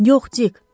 Yox, Dik.